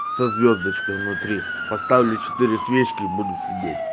со звёздочкой внутри поставлю четыре свечки буду сидеть